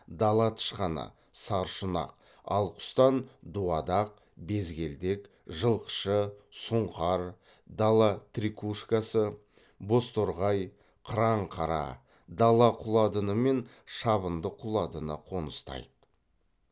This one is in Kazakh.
дала тышқаны саршұнақ ал құстан дуадақ безгелдек жылқышы сұңқар дала трикушкасы бозторғай қыранқара дала құладыны мен шабындық құландыны қоныстайды